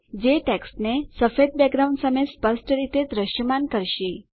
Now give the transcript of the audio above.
જે ટેક્સ્ટને સફેદ બેકગ્રાઉન્ડ સામે સ્પષ્ટ રીતે દ્રશ્યમાન કરશે